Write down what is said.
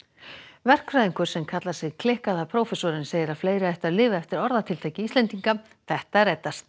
verkfræðingur sem kallar sig klikkaða prófessorinn segir að fleiri ættu að lifa eftir orðatiltæki Íslendinga þetta reddast